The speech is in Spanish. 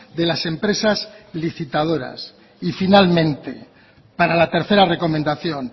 de las empresas licitadoras y finalmente para la tercera recomendación